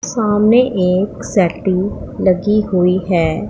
सामने एक सेटिंग लगी हुई है।